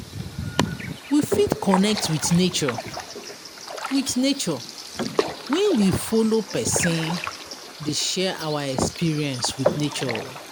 We fit connect with nature with nature when we follow persin dey share our experience with nature